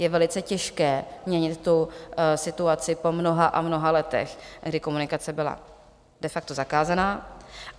Je velice těžké změnit tu situaci po mnoha a mnoha letech, kdy komunikace byla de facto zakázaná.